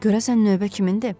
Görəsən növbə kimindir?